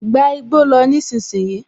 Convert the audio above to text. Gba igbó lọ nísinsìnyí!